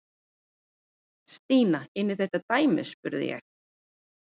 Stína inn í þetta dæmi? spurði ég.